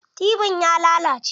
Tibin ya lalace.